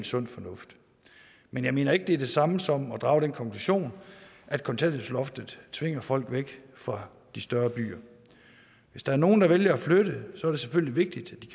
sund fornuft men jeg mener ikke at det er det samme som at drage den konklusion at kontanthjælpsloftet tvinger folk væk fra de større byer hvis der er nogen der vælger at flytte så er det selvfølgelig vigtigt